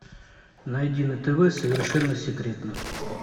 найди на тв совершенно секретно